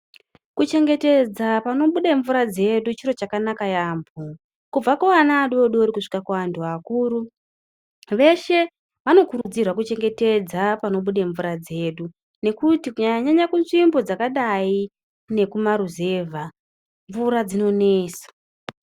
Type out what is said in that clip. Kuchengetedza panobude mvura dzedu chiro chakanaka yaamho, kubva kuana adodori kusvika kuanhu akuru veshe vanokurudzirwe kuchengetedza panobude mvura dzedu nekuti kunyanyanya kunzvimbo dzakadai nekumaruzevha mvura dzinonesa.